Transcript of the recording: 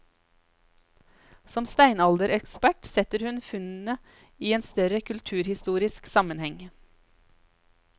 Som steinalderekspert setter hun funnet inn i en større kulturhistorisk sammenheng.